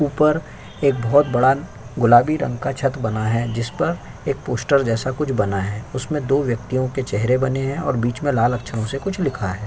ऊपर एक बहोत बड़ा गुलाबी रंग का छत बना है जिसपर एक पोस्टर जैसा कुछ बना है उसमे दो व्यक्तियाँ के चेहरे बने है और बीच में लाल अक्षर से कुछ लिखा है।